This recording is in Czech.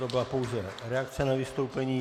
To byla pouze reakce na vystoupení.